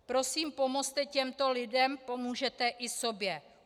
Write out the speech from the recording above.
Prosím, pomozte těmto lidem, pomůžete i sobě.